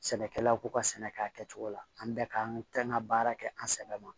Sɛnɛkɛlaw k'u ka sɛnɛ kɛ a kɛcogo la an bɛɛ ka kan ka baara kɛ an sɛbɛ ma